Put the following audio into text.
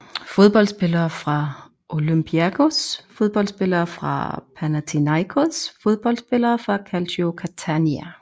Fodboldspillere fra Olympiakos Fodboldspillere fra Panathinaikos Fodboldspillere fra Calcio Catania